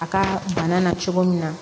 A ka bana na cogo min na